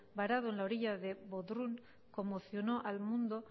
parado en la orilla de bodrum conmocionó al mundo